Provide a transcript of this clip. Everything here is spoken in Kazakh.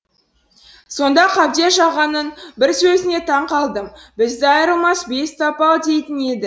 сонда қабдеш ағаның бір сөзіне таң қалдым бізді айырылмас бес тапал дейтін еді